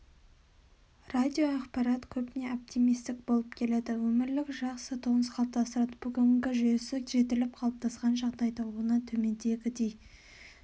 радиоақпарат көбіне оптимистік болып келеді өмірлік жақсы тонус қалыптастырады бүгінгі жүйесі жетіліп қалыптасқан жағдайда оны төмендегідей